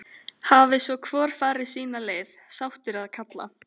Hafi svo hvor farið sína leið, sáttur að kalla.